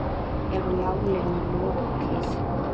Er málinu lokið?